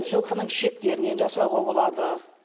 жылқының ішектерінен жасауға болады